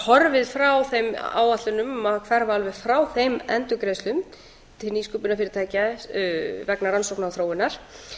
horfið frá þeim áætlunum að hverfa alveg frá þeim endurgreiðslum til nýsköpunarfyrirtækja vegna rannsókna og þróunar